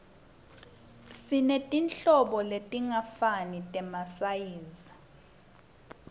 sinetinhlobo letingafani temasayizi